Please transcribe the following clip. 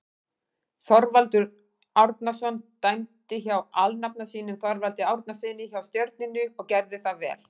Þorvaldur Árnason dæmdi hjá alnafna sínum Þorvaldi Árnasyni hjá Stjörnunni og gerði það vel.